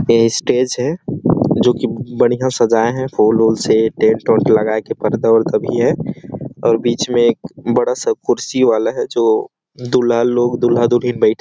वह स्टेज है जोकि बहुत बढ़िया सजाये है फ़ूल -ऊल से टेन्ट -ऊन्ट लगाये के पर्दा- उर्दा भी है और बीच में एक बड़ा -सा कुर्सी वाला है जो दुल्हा लोग दुल्हा- दुल्हिन बैठ --